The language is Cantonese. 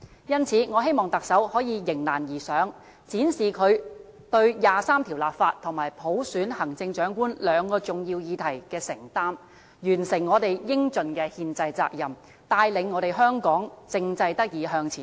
因此，我希望特首可以迎難而上，展示她對第二十三條立法和普選行政長官兩個重要議題的承擔，完成我們應盡的憲制責任，帶領香港政制得以向前走。